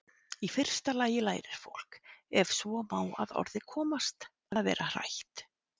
Í fyrsta lagi lærir fólk- ef svo má að orði komast- að vera hrætt.